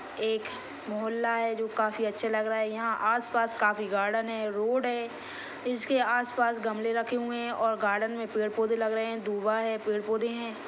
एक मोहल्ला जो काफी अच्छा लग रहा है यहाँ आस पास काफी गार्डन हैं रोड हैं इसके आसपास गमले रखे हुए हैं और गार्डन मे पेड़ पौधे लग रहे हैं दुआ हैं पेड़ पौधे हैं।